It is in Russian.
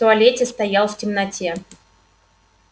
в туалете стоял в темноте